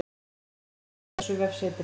Myndin er tekin af þessu vefsetri